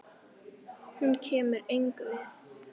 Hún kemur engum við.